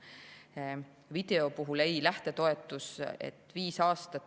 Nüüd, video ja lähtetoetus.